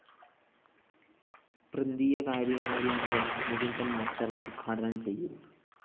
പ്രന്തീയ കാര്യകാരി അംഗം മുകുന്ദന്‍ മാസ്റ്റർ ഉദ്ഘാടനം ചെയ്യും